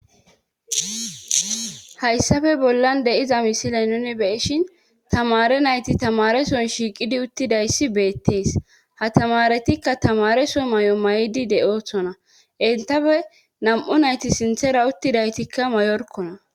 hayssafe bollan deiza misile nune beishin tamare nayti tamareson shiiqidi uttidayssi beettees ha tamaretikka tamareso may7o may7di de7othona intafe nam7u nayti sinthera uttidaytikka mayorkona